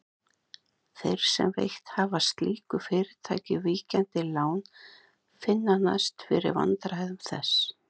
Þeir sem veitt hafa slíku fyrirtæki víkjandi lán finna næst fyrir vandræðum þess.